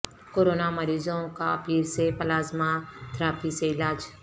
corona مریضوں کا پیر سے پلازما تھراپی سے علاج